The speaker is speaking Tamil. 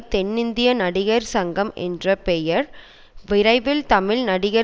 தென்னிந்திய நடிகர் சங்கம் என்ற பெயர் விரைவில் தமிழ் நடிகர்